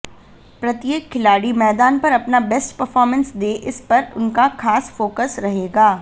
प्रत्येक खिलाड़ी मैदान पर अपना बेस्ट परफॉर्मेंस दे इस पर उनका खास फोकस रहेगा